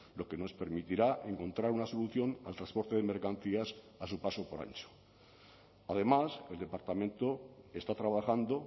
lo que nos permitirá encontrar una solución al transporte de mercancías a su paso por antxo además el departamento está trabajando